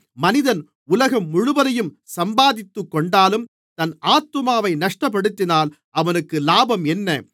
மனிதன் உலகம் முழுவதையும் சம்பாதித்துக்கொண்டாலும் தன் ஆத்துமாவை நஷ்டப்படுத்தினால் அவனுக்கு லாபம் என்ன